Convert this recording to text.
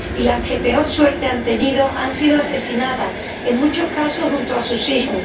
Y las que peor suerte han tenido han sido asesinadas, en muchos casos junto a sus hijos.